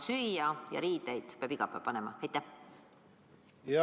Süüa ja riideid läheb ju vaja iga päev.